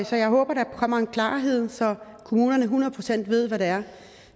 så jeg håber der kommer en klarhed så kommunerne hundrede procent ved hvad det er